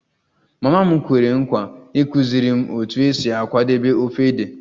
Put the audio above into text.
Mama m kwere nkwa ịkụziri m otu esi akwadebe ofe ede